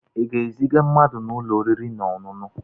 Ị ga-eziga mmadụ n'ụlọ oriri na ọṅụṅụ?